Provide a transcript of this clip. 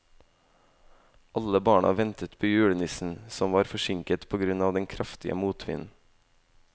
Alle barna ventet på julenissen, som var forsinket på grunn av den kraftige motvinden.